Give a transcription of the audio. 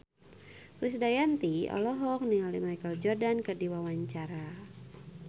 Krisdayanti olohok ningali Michael Jordan keur diwawancara